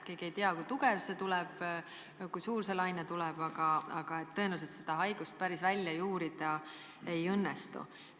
Keegi ei tea, kui tugev see tuleb, kui suur see laine tuleb, aga et tõenäoliselt seda haigust päris välja juurida ei õnnestu.